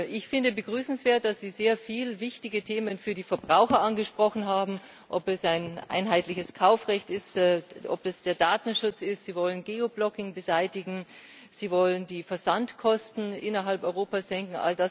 Ich finde es begrüßenswert, dass Sie sehr viele für die Verbraucher wichtige Themen angesprochen haben ob es ein einheitliches Kaufrecht ist, ob das der Datenschutz ist, Sie wollen Geoblocking beseitigen, Sie wollen die Versandkosten innerhalb Europas senken.